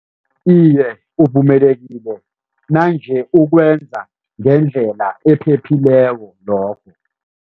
Iye, uvumelekile nange ukwenza ngendlela ephephileko lokho.